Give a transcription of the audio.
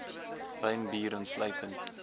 wyn bier insluitend